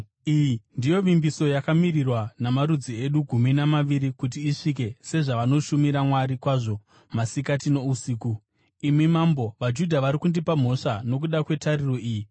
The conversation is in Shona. Iyi ndiyo vimbiso yakamirirwa namarudzi edu gumi namaviri kuti isvike sezvavanoshumira Mwari kwazvo masikati nousiku. Imi mambo, vaJudha vari kundipa mhosva nokuda kwetariro iyi.